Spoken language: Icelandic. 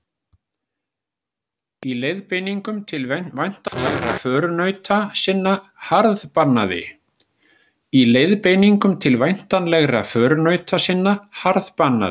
Í leiðbeiningum til væntanlegra förunauta sinna harðbannaði